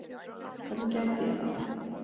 Hvernig gæti ég það?